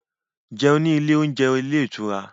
Jẹun ní ilé oúnjẹ ilé ìtura